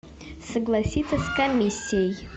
согласиться с комиссией